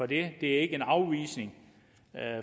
det er ikke en afvisning